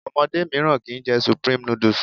Omodé míràn kii jẹ supreme noodles